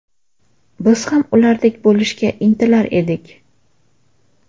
Biz ham ulardek bo‘lishga intilar edik.